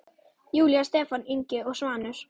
Júlía, Stefán Ingi og Svanur.